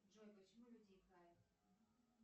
джой почему люди икают